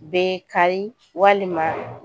Bɛ kari walima